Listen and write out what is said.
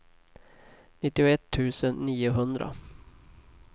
nittioett tusen niohundra